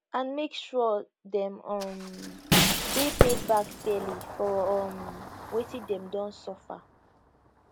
and make sure dem um dey paid back fairly for um wetin dem don suffer